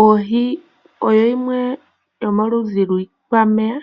Oohi odho dhimwe dhomiikwameya